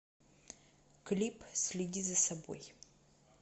клип следи за собой